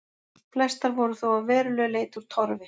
Flestar voru þó að verulegu leyti úr torfi.